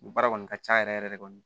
Nin baara kɔni ka ca yɛrɛ yɛrɛ de